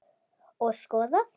Og skoðað.